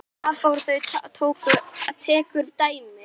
Hafþór tekur dæmi.